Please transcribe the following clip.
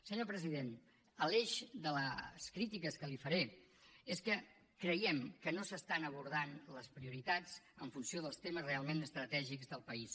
senyor president l’eix de les crítiques que li faré és que creiem que no s’aborden les prioritats en funció dels temes realment estratègics del país